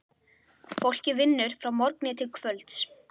Fólkið vinnur frá morgni til kvölds.